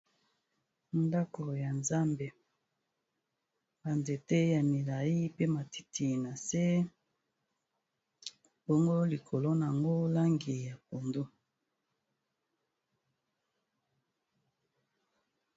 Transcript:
Ndako ya nzambe ba nzete ya milayi pe matiti na se bongo likolo nango langi ya pondu.